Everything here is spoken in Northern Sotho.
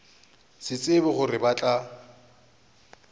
sa tsebe gore ba tla